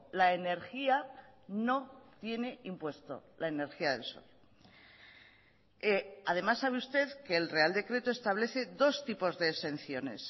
la energía no tiene impuesto la energía del sol además sabe usted que el real decreto establece dos tipos de exenciones